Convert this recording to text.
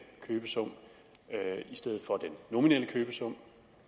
købesum i stedet for den nominelle købesum